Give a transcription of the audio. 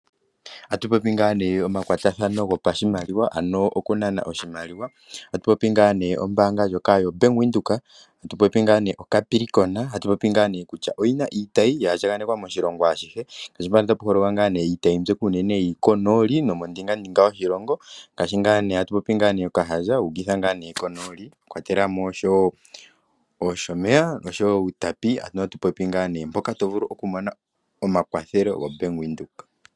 Otatu popi ngaa omakwatathano goku nana oshimaliwa, tatupopi ombaanga ndjoka Yo Bank Windhoek yo Capricorn. Oyina iitayi ya andjanekwa moshilongo ashihe. Iitayi unene yili konooli nomondingandinga yoshilongo. Konooli ngaashi Tsumeb, Outapi, mpoka tovulu okumona omakwatho.